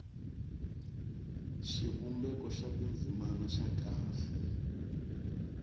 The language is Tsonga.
xivumbeko xa tindzimana xa kahle